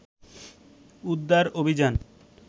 উদ্ধার অভিযান